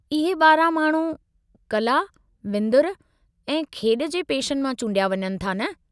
इहे 12 माण्हू कला, विंदुर ऐं खेॾ जे पेशनि मां चूंडिया वञनि था न?